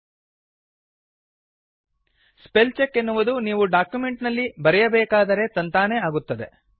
spell check ಎನ್ನುವುದು ನೀವು document ನಲ್ಲಿ ಬರೆಯಬೇಕಾದರೇ ತಂತಾನೇ ಆಗುತ್ತದೆ